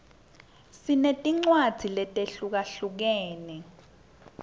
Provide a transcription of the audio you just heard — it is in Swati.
sinetincwadzi letehlukahlukene